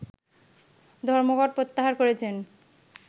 ধর্মঘট প্রত্যাহার করেছেন